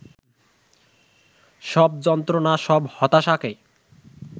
সব যন্ত্রণা, সব হতাশাকে